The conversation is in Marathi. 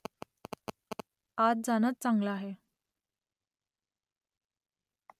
आत जाणंच चांगलं आहे